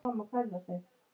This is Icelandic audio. Við húsið er nýtt torg.